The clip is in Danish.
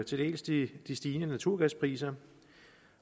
til dels de stigende naturgaspriser